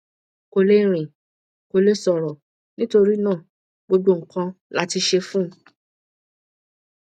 kò lè rìn kò lè sọrọ nítorí náà gbogbo nǹkan la ṣe fún un